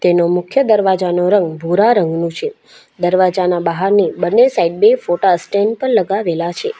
એનો મુખ્ય દરવાજાનો રંગ ભૂરા રંગનું છે દરવાજાના બહારની બંને સાઈડ બે ફોટા સ્ટેન્ડ પર લગાવેલા છે.